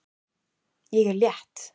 Ég er létt.